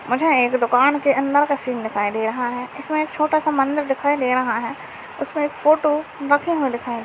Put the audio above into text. मुझे एक दुकान का अंदर का सीन दिखाई दे रहा है। इसमे एक छोटा सा मंदिर दिखाई दे रहा है। उसमे एक फोटो रखे हुए दीखा--